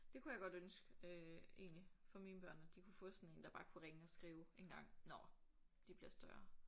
Det kunne jeg godt ønske øh egentlig for mine børn at de kunne få sådan en der bare kunne ringe og skrive engang når de bliver større